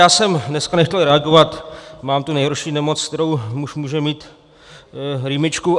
Já jsem dneska nechtěl reagovat, mám tu nejhorší nemoc, kterou muž může mít, rýmičku.